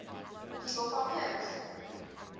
people from hims